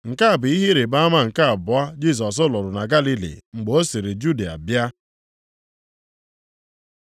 Nke a bụ ihe ịrịbama nke abụọ Jisọs rụrụ na Galili mgbe o siri Judịa bịa.